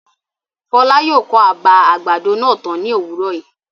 Fọlá yóò kọ́ àbà àgbàdo náà tán ní òwúrọ̀ yìí.